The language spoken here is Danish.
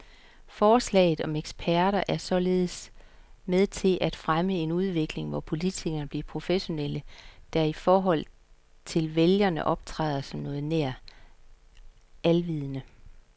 Forslaget om eksperter er således med til at fremme en udvikling, hvor politikerne bliver professionelle, der i forhold til vælgerne optræder som noget nær alvidende.